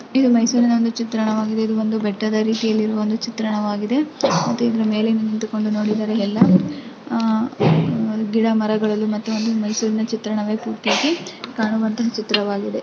ಇದು ಮೈಸೂರಿನ ಒಂದು ಚಿತ್ರಣವಾಗಿದೆ. ಇದು ಒಂದು ಬೆಟ್ಟದ ರೀತಿಯಲ್ಲಿ ಇರುವ ಚಿತ್ರಣವಾಗಿದೆ ಮತ್ತೆ ಇದರ ಮೇಲೆ ನಿಂತುಕೊಂಡು ನೋಡಿದರೆ ಎಲ್ಲಾ ಅಹ್ ಅಹ್ ಗಿಡ ಮರಗಳನ್ನು ಮತ್ತು ಮೈಸೂರಿನ ಚಿತ್ರಣವೆ ಪೂರ್ತಿಯಾಗಿ ಕಾಣುವಂತಹ ಚಿತ್ರವಾಗಿದೆ .